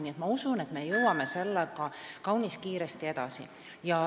Nii et ma usun, et me liigume sellega kaunis kiiresti edasi.